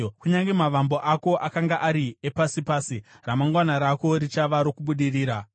Kunyange mavambo ako akanga ari epasi pasi, ramangwana rako richava rokubudirira.